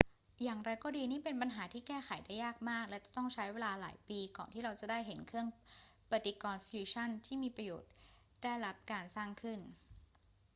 อย่างไรก็ดี นี่เป็นปัญหาที่แก้ไขได้ยากมากและจะต้องใช้เวลาหลายปีก่อนที่เราจะได้เห็นเครื่องปฏิกรณ์ฟิวชันที่มีประโยชน์ได้รับการสร้างขึ้น